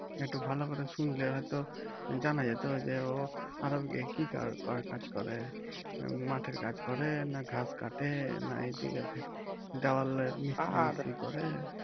একটু ভালো করে শুনলে হয়ত জানা যেত যে ও আরব গিয়ে কি কার কি কাজ করে মাঠে কাজ করে না ঘাস কাটে না এদিকে দেওয়ালে মিস্তিরি ফিস্তিরি করে